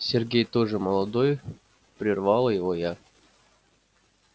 сергей тоже молодой прервала его я